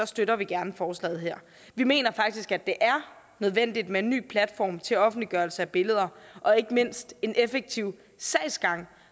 støtter vi gerne forslaget her vi mener faktisk at det er nødvendigt med en ny platform til offentliggørelse af billeder og ikke mindst en effektiv sagsgang